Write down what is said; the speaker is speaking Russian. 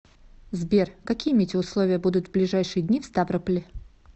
сбер какие метеоусловия будут в ближайшие дни в ставрополе